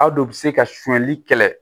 Aw do o bɛ se ka sonyani kɛlɛ